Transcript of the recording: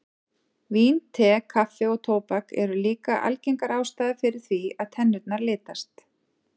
Vín, te, kaffi og tóbak eru líka algengar ástæður fyrir því að tennurnar litast.